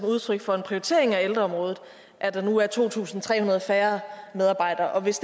udtryk for en prioritering af ældreområdet at der nu er to tusind tre hundrede færre medarbejdere hvis